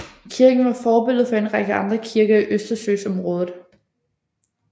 Kirken var forbillede for en række andre kirker i Østersøområdet